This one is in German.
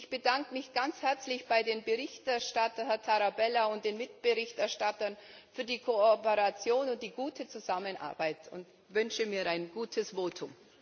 Ich bedanke mich ganz herzlich bei dem Berichterstatter, Herrn Tarabella, und den Mitberichterstattern für die Kooperation und die gute Zusammenarbeit und wünsche mir ein gutes Votum.